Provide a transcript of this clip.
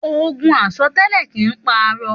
Ògún àsọtẹlẹ kín pà àrọ